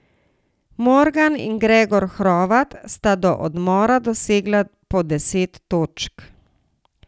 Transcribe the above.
Morgan in Gregor Hrovat sta do odmora dosegla po deset točk.